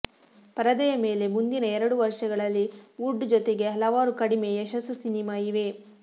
ಪರದೆಯ ಮೇಲೆ ಮುಂದಿನ ಎರಡು ವರ್ಷಗಳಲ್ಲಿ ವುಡ್ ಜೊತೆಗೆ ಹಲವಾರು ಕಡಿಮೆ ಯಶಸ್ಸು ಸಿನೆಮಾ ಇವೆ